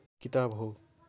किताब हो